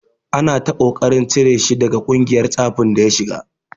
Ana ta ƙoƙarin cire shi daga ƙungiyar tsafin da ya shiga.